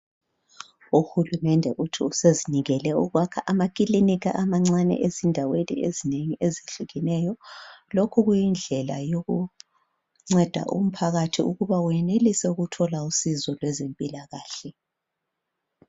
UHulumende uthi usezimisele ukwakha amakilinika amancane ezindaweni ezinengi ezehlukeneyo. Lokhu kuyindlela yokunceda umphakathi ukuba wenelise ukuthola usizo lwezempilakahle.